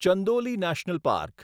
Chandoli national park